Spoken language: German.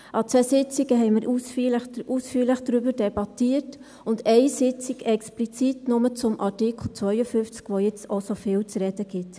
An zwei Sitzungen haben wir ausführlich darüber debattiert, an einer Sitzung explizit nur zum Artikel 52, der jetzt auch so viel zu reden gibt.